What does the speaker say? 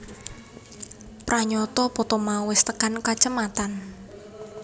Pranyata poto mau wis tekan kacamatan